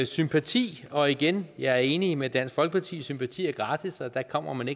sympati og igen jeg enig med dansk folkeparti sympati er gratis og der kommer man